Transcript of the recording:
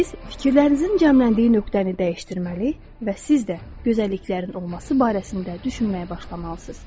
Siz fikirlərinizin cəmləndiyi nöqtəni dəyişdirməli və siz də gözəlliklərin olması barəsində düşünməyə başlamalısınız.